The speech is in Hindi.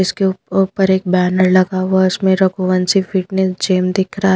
इसके ऊप ऊपर एक बैनर लगा हुआ है इसमें रघुवंशी फिटनेस जिम दिख रहा है।